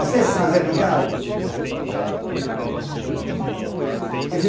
Você é estrangeiro, não tenho nada com você